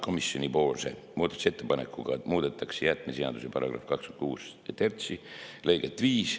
Komisjoni muudatusettepanekuga muudetakse jäätmeseaduse § 263 lõiget 5.